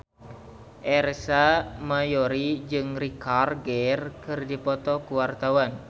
Ersa Mayori jeung Richard Gere keur dipoto ku wartawan